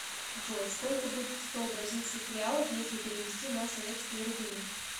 джой сколько будет сто бразильских реалов если перевести на советские рубли